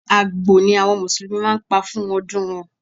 Àgbò ni àwọn musulumi máa ń pa fún ọdún wọn.